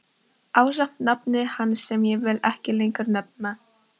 Ásamt nafni hans sem ég vil ekki lengur nefna.